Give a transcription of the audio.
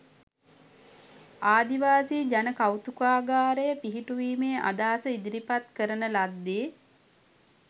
ආදිවාසී ජන කෞතුකාගාරය පිහිටුවීමේ අදහස ඉදිරිපත් කරන ලද්දේ